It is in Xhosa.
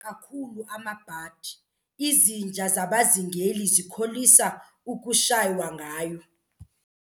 kakhulu amabhadi, izinja zabazingeli zikholisa ukushaywa ngayo.